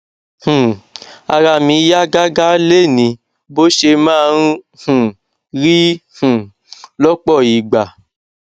um ara mi yá gágá lénìí bó ṣe máa ń um rí um lọpọ ìgbà